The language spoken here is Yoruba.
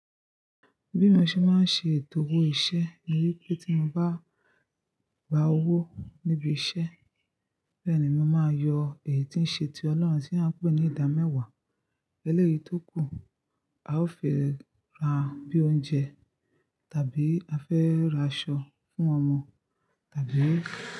Bí mo ṣe máa ń ṣe ètò owó iṣẹ́ ni wípé tí mo bá gba owó níbi iṣẹ́, bẹ́ẹ̀ ni màá yọ èyí tí ń ṣe ti ọlọ́run tí a ń pè ní ìdámẹ́wàá. Eléyìí tó kù, a ó fi ra bíi oúnjẹ, tàbí a fẹ́ ra aṣọ fún ọmọ, tàbí.